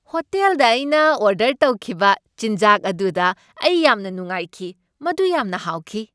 ꯍꯣꯇꯦꯜꯗ ꯑꯩꯅ ꯑꯣꯔꯗꯔ ꯇꯧꯈꯤꯕ ꯆꯤꯟꯖꯥꯛ ꯑꯗꯨꯗ ꯑꯩ ꯌꯥꯝꯅ ꯅꯨꯡꯉꯥꯏꯈꯤ꯫ ꯃꯗꯨ ꯌꯥꯝꯅ ꯍꯥꯎꯈꯤ꯫